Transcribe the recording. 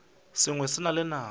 sengwe se na le nako